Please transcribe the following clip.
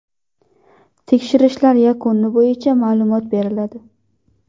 Tekshirishlar yakuni bo‘yicha ma’lumot beriladi.